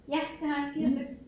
Ja det har jeg 4 styks